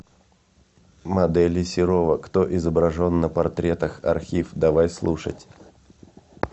модели серова кто изображен на портретах архив давай слушать